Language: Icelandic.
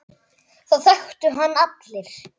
Það þekktu hann allir.